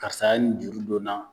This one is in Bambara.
Karisa ye ni juru don n na